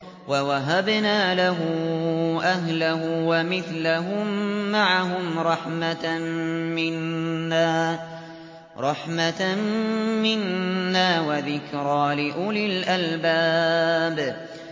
وَوَهَبْنَا لَهُ أَهْلَهُ وَمِثْلَهُم مَّعَهُمْ رَحْمَةً مِّنَّا وَذِكْرَىٰ لِأُولِي الْأَلْبَابِ